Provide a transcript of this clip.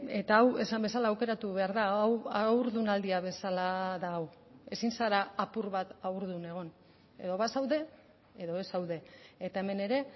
eta hau esan bezala aukeratu behar da hau haurdunaldia bezala da hau ezin zara apur bat haurdun egon edo bazaude edo ez zaude eta hemen ere